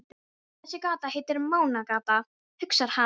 Þessi gata heitir Mánagata, hugsar hann.